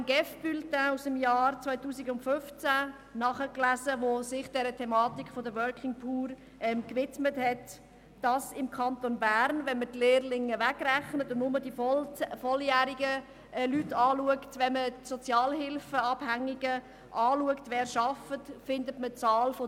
Ich habe im GEF-Bulletin aus dem Jahr 2015, das sich dieser Thematik der «Working Poor» gewidmet hat, nachgelesen: Wenn man im Kanton Bern die Lehrlinge wegrechnet und nur die volljährigen Leute betrachtet, findet man bei den arbeitenden Sozialhilfeabhängigen die Zahl 1400: